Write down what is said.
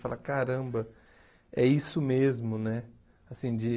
Falar, caramba, é isso mesmo, né? Assim de